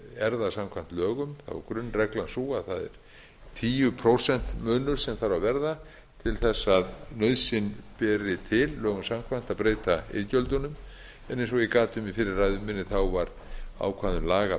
það samkvæmt lögum grunnreglan sú að það er tíu prósent munur sem þarf að verða til þess að nauðsyn beri til lögum samkvæmt að breyta iðgjöldunum en eins og ég gat um í fyrri ræðu minni var ákvæðum laga